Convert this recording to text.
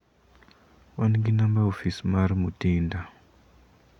wan gi namba ofis mar Mutinda.